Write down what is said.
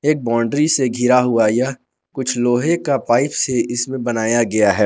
एक बाउंड्री से घिरा हुआ है यह कुछ लोहे का पाइप से इसमें बनाया गया है।